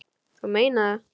Þú meinar það.